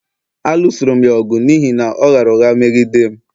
A lụsoru'm ya ọgụ n’ihi na ọ ghaara ụgha meghi dem